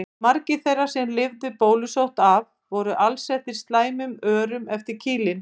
Margir þeirra sem lifðu bólusótt af voru alsettir slæmum örum eftir kýlin.